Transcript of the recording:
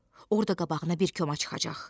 Orda qabağına bir koma çıxacaq.